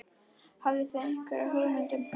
Hafið þið einhverja hugmynd um það?